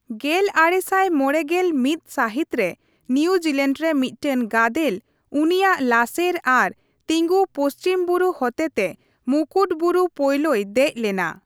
ᱜᱮᱞ ᱟᱨᱮ ᱥᱟᱭ ᱢᱚᱲᱮ ᱜᱮᱞ ᱢᱤᱛ ᱥᱟᱹᱦᱤᱛᱨᱮ ᱱᱤᱭᱩᱡᱤᱞᱮᱰ ᱨᱮ ᱢᱤᱫᱴᱮᱱ ᱜᱟᱫᱮᱞ ᱩᱱᱤᱭᱟᱜ ᱞᱟᱥᱮᱨ ᱟᱨ ᱛᱤᱸᱜᱩ ᱯᱚᱪᱷᱤᱢ ᱵᱩᱨᱩ ᱦᱚᱛᱮᱛᱮ ᱢᱩᱠᱩᱴ ᱵᱩᱨᱩ ᱯᱳᱭᱞᱳᱭ ᱫᱮᱡ ᱞᱮᱱᱟ ᱾